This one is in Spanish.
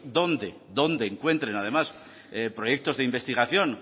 donde encuentren además proyectos de investigación